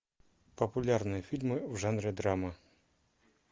популярные фильмы в жанре драма